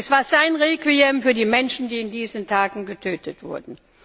Es war sein Requiem für die Menschen, die in diesen Tagen getötet wurden.